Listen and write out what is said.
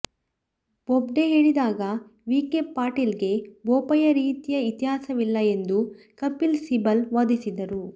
ಬೊಬ್ಡೆ ಹೇಳಿದಾಗ ವಿಖೆ ಪಾಟೀಲ್ಗೆ ಬೋಪಯ್ಯ ರೀತಿಯ ಇತಿಹಾಸವಿಲ್ಲ ಎಂದು ಕಪಿಲ್ ಸಿಬಲ್ ವಾದಿಸಿದರು